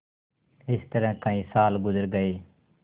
इस तरह कई साल गुजर गये